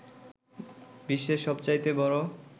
বিশ্বের সবচাইতে বড়